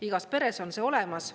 Igas peres on see olemas.